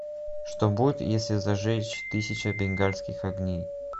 что будет если зажечь тысячу бенгальских огней